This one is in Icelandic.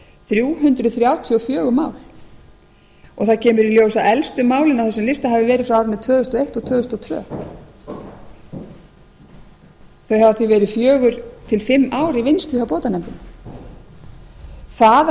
þrjú hundruð þrjátíu og fjögur mál og það kemur í ljós að elstu málin á þessum lista hafi verið frá tvö þúsund og eitt til tvö þúsund og tvö þau hafa því verið fjórar til fimm ár i vinnslu hjá bótanefndinni það að